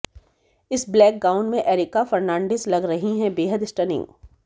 इस black gown में एरिका फर्नांडिस लग रही हैं बेहद स्टनिंग